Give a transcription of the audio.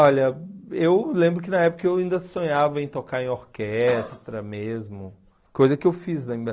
Olha, eu lembro que na época eu ainda sonhava em tocar em orquestra mesmo, coisa que eu fiz ainda.